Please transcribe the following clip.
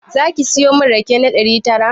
Zaki siyo min rake na ɗari tara?